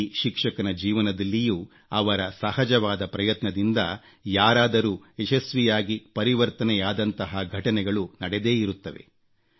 ಪ್ರತಿ ಶಿಕ್ಷಕನ ಜೀವನದಲ್ಲಿಯೂ ಅವರ ಸಹಜವಾದ ಪ್ರಯತ್ನದಿಂದ ಯಾರಾದರೂ ಯಶಸ್ವಿಯಾಗಿ ಪರಿವರ್ತನೆಯಾದಂತಹ ಘಟನೆಗಳು ನಡೆದೇ ಇರುತ್ತವೆ